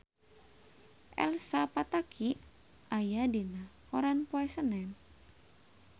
Elsa Pataky aya dina koran poe Senen